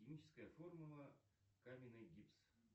химическая формула каменный гипс